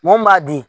Mun b'a di